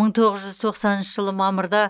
мың тоғыз жүз тоқсаныншы жылы мамырда